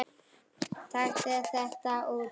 Taktu þetta út